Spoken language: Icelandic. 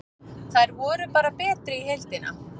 Þær voru bara betri í heildina.